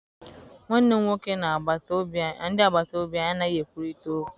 Nwanne m nwoke na ndị agbata obi anyị anaghị ekwurịta okwu.